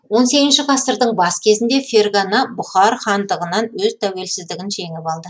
он сегізінші ғасырдың бас кезінде фергана бұхар хандығынан өз тәуелсіздігін жеңіп алды